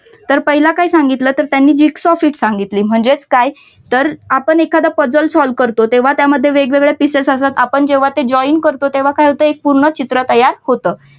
तर पाहिलं काय सांगितलं त्यांनी तर gigs of hit सांगितली म्हणजेच काय तर आपण एखादा puzzle solve करतो तेव्हा त्यामध्ये वेगवेगळ्या pieces असतात आपण जेव्हा ते join करतो तेव्हा काय होतं एक पूर्ण चित्र तयार होतं.